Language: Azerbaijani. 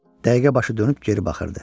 Dəqiqə başı dönüb geri baxırdı.